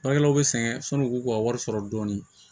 Baarakɛlaw bi sɛgɛn sanu k'u ka wari sɔrɔ dɔɔnin